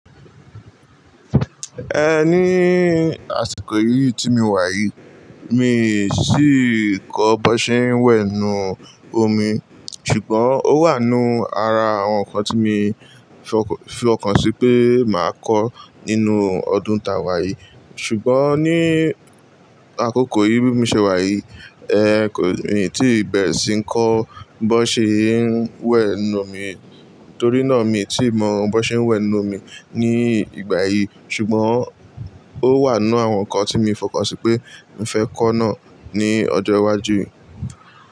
Ẹ ní àsìkò yìí tí mi wà yìí, mi sì kọ́ bọ́ ṣe ń wẹ̀nu omi. Ṣùgbọ́n ó wà nínú ara àwọn ǹkan tí mo fi ọkàn sí pé màá kọ́ nínú ọdún tàwà yìí. Ṣùgbọ́n ní àkókò yìí bí mo ṣe wà yìí, ẹ kò mí tí ì bẹ̀ sì ń kọ́ bó ṣe ń wẹ̀nu omi torí náà mi tí mọ bó ṣe ń wẹ̀nu omi ní ìgbà yìí. Ṣùgbọ́n ó wà nínú àwọn ǹkan tí mo fi ọkàn sí pé mo fẹ́ kọ́ náà ní ọjọ́ iwájú yìí.